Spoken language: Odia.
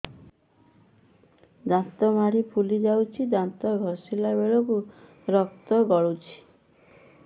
ଦାନ୍ତ ମାଢ଼ୀ ଫୁଲି ଯାଉଛି ଦାନ୍ତ ଘଷିଲା ବେଳକୁ ରକ୍ତ ଗଳୁଛି